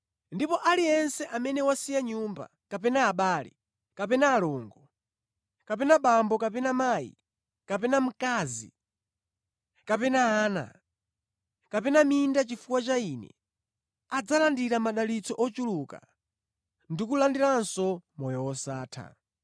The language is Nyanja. Ndipo aliyense amene wasiya nyumba, kapena abale, kapena alongo, kapena bambo kapena mayi kapena mkazi, kapena ana, kapena minda chifukwa cha Ine adzalandira madalitso ochuluka ndi kulandiranso moyo wosatha.